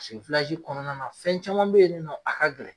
kɔnɔna na fɛn caman be yen nin nɔn a ka gɛlɛn